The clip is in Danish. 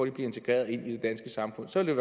integreret i det danske samfund så ville